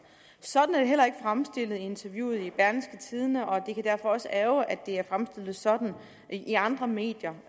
sådan er det heller ikke fremstillet i interviewet i berlingske tidende og det kan derfor også ærgre at det er fremstillet sådan i andre medier